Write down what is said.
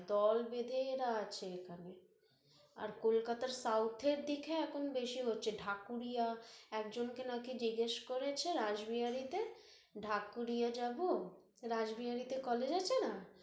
দল বেধেঁ আছে এর এখানে, আর কলকাতার south এর দিকে এখন বেশি হচ্ছে, ঢাকুরিয়া, একজনকে নাকি জিজ্ঞেস করেছে রাসবিহারিতে ঢাকুরিয়া যাব রাসবিহারিতে college আছে না